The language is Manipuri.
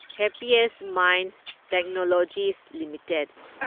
happiest Minds Technologies limited